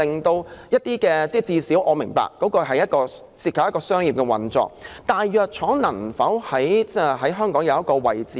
我也明白，當中會涉及商業運作，但藥廠能否在香港分擔一個角色呢？